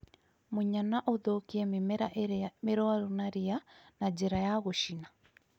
Munya na ũthũkie mĩmera ĩria mĩrũaru na ria na njĩra ya gũcina